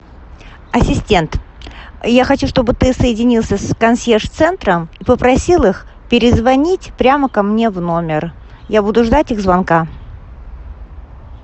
ассистент я хочу чтобы ты соединился с консьерж центром и попросил их перезвонить прямо ко мне в номер я буду ждать их звонка